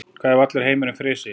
Hvað ef allur heimurinn frysi?